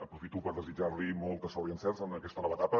aprofito per desitjar li molta sort i encerts en aquesta nova etapa